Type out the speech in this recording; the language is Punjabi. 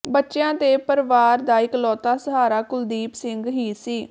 ਬੱਚਿਆ ਤੇ ਪਰਵਾਰ ਦਾ ਇਕਲੌਤਾ ਸਹਾਰਾ ਕੁਲਦੀਪ ਸਿੰਘ ਹੀ ਸੀ